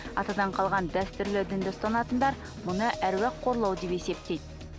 атадан қалған дәстүрлі дінді ұстанатындар бұны әруақ қорлау деп есептейді